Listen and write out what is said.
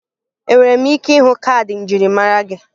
Enwere m ike ịhụ kaadị njirimara gị?